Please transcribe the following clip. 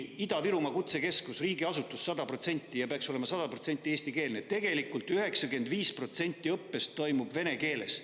Ida-Virumaa kutsekeskus, mis on riigiasutus ja peaks olema 100% eestikeelne – tegelikult 95% õppest toimub vene keeles.